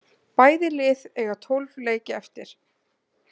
Bæði lið eiga tólf leiki eftir